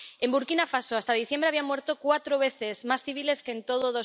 En Burkina Faso, hasta diciembre habían muerto cuatro veces más civiles que en todo